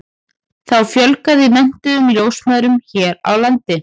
þá fjölgaði menntuðum ljósmæðrum hér á landi